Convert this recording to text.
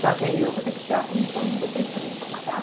Só que aí eu vou ter que tirar a comissão de vocês também para pagar.